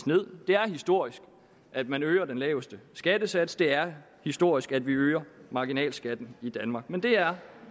ned det er historisk at man øger den laveste skattesats det er historisk at vi øger marginalskatten i danmark men det er